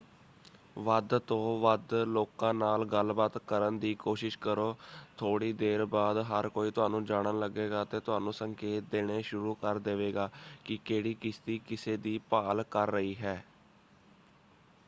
ਵੱਧ ਤੋਂ ਵੱਧ ਲੋਕਾਂ ਨਾਲ ਗੱਲਬਾਤ ਕਰਨ ਦੀ ਕੋਸ਼ਿਸ਼ ਕਰੋ। ਥੋੜ੍ਹੀ ਦੇਰ ਬਾਅਦ ਹਰ ਕੋਈ ਤੁਹਾਨੂੰ ਜਾਣਨ ਲੱਗੇਗਾ ਅਤੇ ਤੁਹਾਨੂੰ ਸੰਕੇਤ ਦੇਣੇ ਸ਼ੁਰੂ ਕਰ ਦੇਵੇਗਾ ਕਿ ਕਿਹੜੀ ਕਿਸ਼ਤੀ ਕਿਸੇ ਦੀ ਭਾਲ ਕਰ ਰਹੀ ਹੈ।